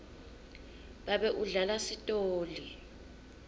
babe udlala sitoli